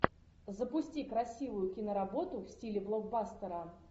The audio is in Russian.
запусти красивую киноработу в стиле блокбастера